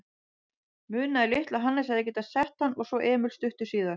Munaði litlu að Hannes hefði getað sett hann og svo Emil stuttu síðar.